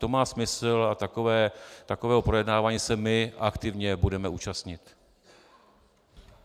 To má smysl a takového projednávání se my aktivně budeme účastnit.